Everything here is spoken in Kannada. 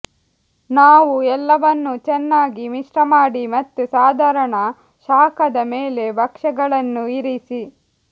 ನಾವು ಎಲ್ಲವನ್ನೂ ಚೆನ್ನಾಗಿ ಮಿಶ್ರಮಾಡಿ ಮತ್ತು ಸಾಧಾರಣ ಶಾಖದ ಮೇಲೆ ಭಕ್ಷ್ಯಗಳನ್ನು ಇರಿಸಿ